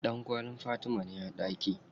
Ɗankwallin Fatima ne a ɗaki.